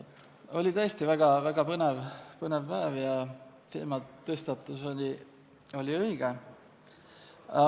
Oli tõesti väga põnev päev ja teematõstatus oli õige.